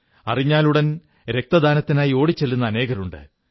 അറിഞ്ഞാലുടൻ രക്തദാനത്തിനായി ഓടിച്ചെല്ലുന്ന അനേകരുണ്ട്